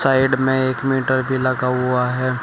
Side में एक metre भी लगा हुआ है।